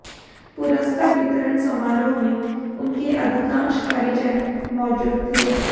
पुरस्कार वितरण समारोह में उनके अधिकांश परिजन मौजूद थे